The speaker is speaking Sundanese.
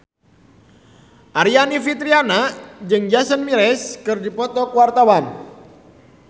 Aryani Fitriana jeung Jason Mraz keur dipoto ku wartawan